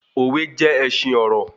Òwe jé ẹṣin ọrọ